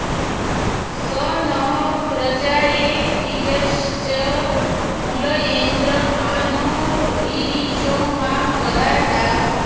स नः॑ प्र॒जायै॑ हर्यश्व मृळ॒येन्द्र॒ मा नो॑ रीरिषो॒ मा परा॑ दाः